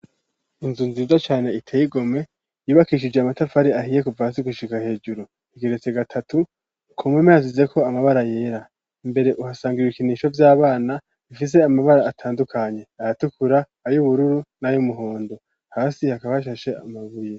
Inzu nziza cane iteye igomwe yubakishije amatafari ahiye kuva hasi gushika hejuru igeretse gatatu kumpome yasizeko amabara yera mbere uhasanga ibikinisho vy'abana bifise amabara atandukanye ayatukura ayubururu n'ayumuhondo hasi hakaba hashashe amabuye.